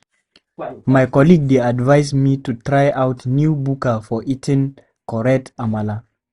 My colleague dey advise me to try out new buka for eating correct amala.